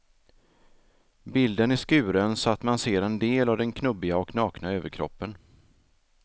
Bilden är skuren så att man ser en del av den knubbiga och nakna överkroppen.